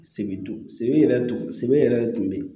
Sebe sebe yɛrɛ dun sebe yɛrɛ dun bɛ yen